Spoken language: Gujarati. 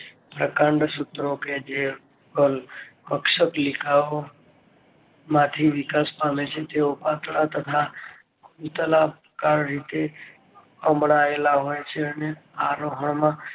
પ્રકાંડ સૂત્રો કે જે હોય અક્ષત લિખાઓ માંથી વિકાસ પામે છે તેઓ પાંચાળ તથા કલ રીતે કામળાયેલા હોય છે.